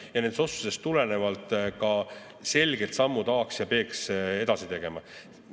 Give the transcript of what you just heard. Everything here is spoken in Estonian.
Ja nendest otsustest tulenevalt tuleb ka teha selged sammud A‑ks ja B‑ks.